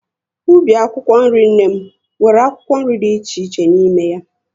Ubi akwụkwọ nri nne m, nwere akwụkwọ nri dị iche iche n'ime ya